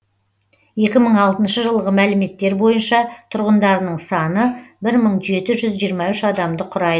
екі мың алтыншы жылғы мәліметтер бойынша тұрғындарының саны бір мың жеті жүз жиырма үш адамды құрайды